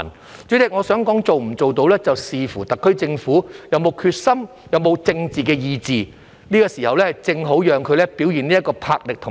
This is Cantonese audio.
代理主席，我想說，能否做得到，是要視乎特區政府有沒有決心、有沒有政治意志，這個時候正好讓它表現魄力和意志。